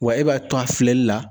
Wa e b'a to a filɛli la